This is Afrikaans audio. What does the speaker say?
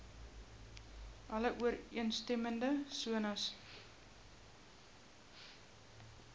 alle ooreenstemmende sones